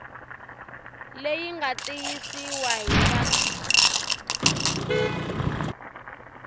leyi nga tiyisiwa hi va